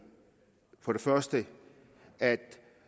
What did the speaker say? for det første at